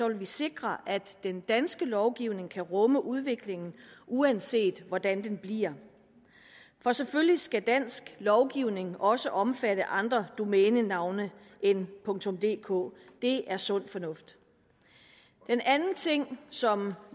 vil vi sikre at den danske lovgivning kan rumme udviklingen uanset hvordan den bliver for selvfølgelig skal dansk lovgivning også omfatte andre domænenavne end dk det er sund fornuft den anden ting som